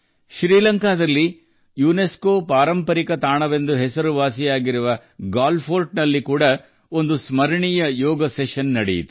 ಶ್ರೀಲಂಕಾದ ಯುನೆಸ್ಕೊ ಪಾರಂಪರಿಕ ತಾಣಕ್ಕೆ ಹೆಸರುವಾಸಿಯಾದ ಗಾಲೆ ಕೋಟೆಯಲ್ಲಿ ಸ್ಮರಣೀಯ ಯೋಗ ಕಲಾಪ ನಡೆಯಿತು